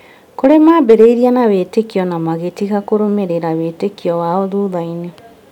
Kũrĩ maambĩrĩirie na wĩtĩkio na magĩtiga kũrũmĩrĩra wĩtĩkio wao thutha-inĩ